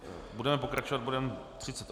Budeme pokračovat bodem